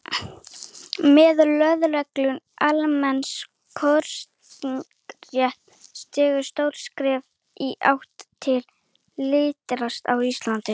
Með lögleiðingu almenns kosningaréttar var stigið stórt skref í átt til lýðræðis á Íslandi.